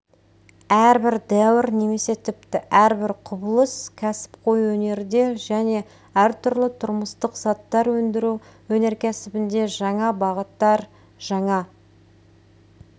әрбір дәуір немесе тіпті әрбір құбылыс кәсіпқой өнерде және әртүрлі тұрмыстық заттар өндіру өнеркәсібінде жаңа бағыттар жаңа